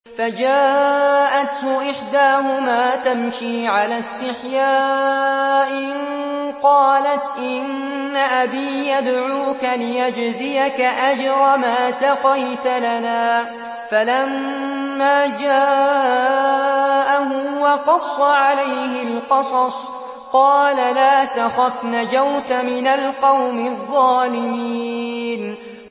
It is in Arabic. فَجَاءَتْهُ إِحْدَاهُمَا تَمْشِي عَلَى اسْتِحْيَاءٍ قَالَتْ إِنَّ أَبِي يَدْعُوكَ لِيَجْزِيَكَ أَجْرَ مَا سَقَيْتَ لَنَا ۚ فَلَمَّا جَاءَهُ وَقَصَّ عَلَيْهِ الْقَصَصَ قَالَ لَا تَخَفْ ۖ نَجَوْتَ مِنَ الْقَوْمِ الظَّالِمِينَ